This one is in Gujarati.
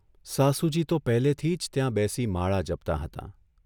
સાસુજી તો પહેલેથી જ ત્યાં બેસી માળા જપતાં હતાં.